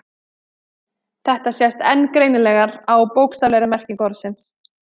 Þetta sést enn greinilegar á bókstaflegri merkingu orðsins.